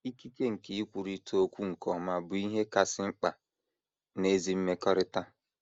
Ikike nke ikwurịta okwu nke ọma bụ ihe kasị mkpa n’ezi mmekọrịta.